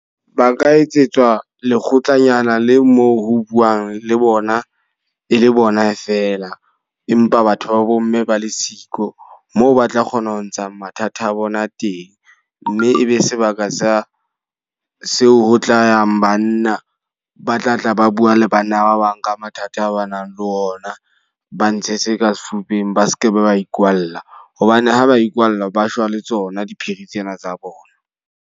Ba ka etsetswa lekgotlanyana le moo ho buwang le bona, e le bona fela. Empa batho ba bo l mme ba le siko. Moo ba tla kgona ho ntsha mathata a bona teng. Mme e be sebaka sa seo ho tla yang banna. Ba tla tla ba bua le banna ba bang ka mathata a ba nang le ona, ba ntshe se ka sefubeng, ba seke ba ba ikwalla. Hobane ha ba ikwalla ba shwa le tsona diphiri tsena tsa bona.